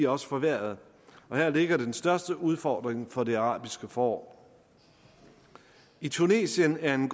også forværret og her ligger den største udfordring for det arabiske forår i tunesien er en